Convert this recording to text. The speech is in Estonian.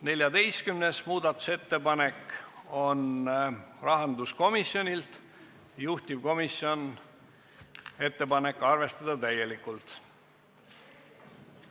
14. muudatusettepanek on rahanduskomisjonilt, juhtivkomisjon: arvestada täielikult.